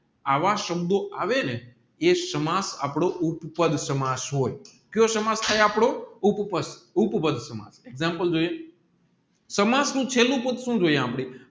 આવા શબ્દો આવેને સાંમજ આપડો ઉપ પઢ હોય કાયો સમર્થ થાય આપડો ઉપ પાઢ ઉપાદ્ય માં એક્ષામપ્લે જોઇયે સમાર્ટ નું ચેલું પાઢ સુ